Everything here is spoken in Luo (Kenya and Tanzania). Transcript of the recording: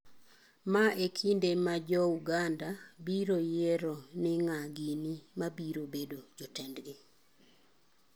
Ma e kinde ma Jouganda biro yiero ni ng'a gini mabiro bedo jotendgi.